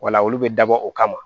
Wala olu bɛ dabɔ o kama